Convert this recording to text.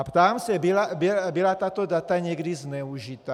A ptám se - byla tato data někdy zneužita?